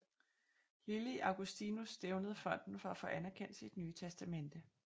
Lili Augustinus stævnede fonden for at få anerkendt sit nye testamente